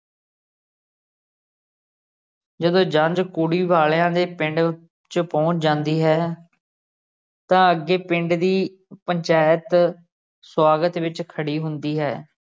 ਜਦੋਂ ਜੰਝ ਕੁੜੀ ਵਾਲਿਆਂ ਦੇ ਪਿੰਡ ਚ ਪੁਹੰਚ ਜਾਂਦੀ ਹੈ ਤਾ ਅੱਗੇ ਪਿੰਡ ਦੀ ਪੰਚਾਇਤ ਸਵਾਗਤ ਵਿਚ ਖੜ੍ਹੀ ਹੁੰਦੀ ਹੈ।